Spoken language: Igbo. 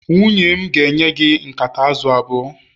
nwunye m ga-enye gị nkata azụ̀ abụọ